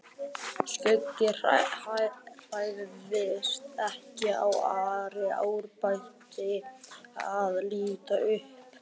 Skugginn hrærðist ekki svo Ari áræddi að líta upp.